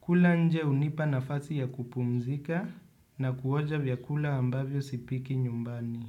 Kula nje unipa nafasi ya kupumzika na kuonja vyakula ambavyo sipiki nyumbani.